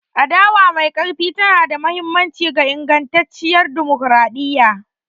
Adawa mai ƙarfi tana da mahimmanci ga ingantacciyar dimokuradiyya.